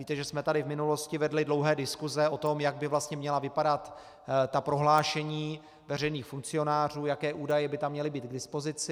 Víte, že jsme tady v minulosti vedli dlouhé diskuse o tom, jak by vlastně měla vypadat ta prohlášení veřejných funkcionářů, jaké údaje by tam měly být k dispozici.